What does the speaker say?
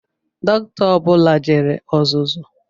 Doctor ọ bula jere ọzụzụ